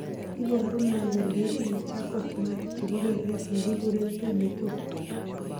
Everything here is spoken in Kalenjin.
iporu ne kole itinye Charcot Marie chepo kelek nekiguren 2b2.